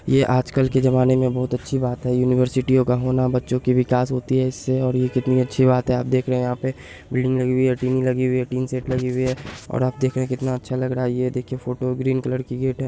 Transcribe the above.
ये आजकल के जमाने में बहुत अच्छी बात है यूनिवर्सिटीयो का होना । बच्चो का विकास होती है इससे और ये कितनी अच्छी बात है। आप देख रहे यहां पे बिल्डिंग लगी हुई है टीवी लगी हुई है टिन सेट लगी हुई है और आप देख रहे कितना अच्छा लग रहा है। ये देखो फोटो ग्रीन कलर की गेट है।